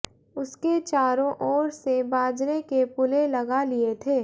उसके चारों ओर से बाजरे के पुले लगा लिए थे